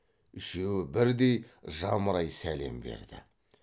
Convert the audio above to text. үшеуі бірдей жамырай сәлем берді